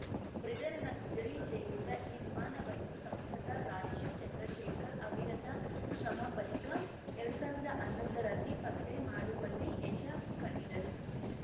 ಬ್ರಿಟನ್‌ನ ಗುಜರಿ ಸೇರಿದ್ದ ಈ ವಿಮಾನವನ್ನು ಸಂಸದ ರಾಜೀವ್‌ ಚಂದ್ರಶೇಖರ್‌ ಅವಿರತ ಶ್ರಮ ಬಳಿಕ ಎರಡ್ ಸಾವಿರ್ದಾ ಹನ್ನೊಂದರಲ್ಲಿ ಪತ್ತೆ ಮಾಡುವಲ್ಲಿ ಯಶ ಕಂಡಿದರು